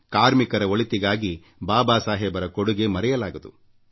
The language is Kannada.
ಕಾರ್ಮಿಕರ ಒಳಿತಿಗಾಗಿ ಬಾಬಾ ಸಾಹೇಬರ ಕೊಡುಗೆ ಮರೆಯಲಾಗದು